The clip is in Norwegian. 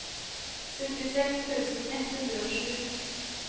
syttiseks tusen ett hundre og sju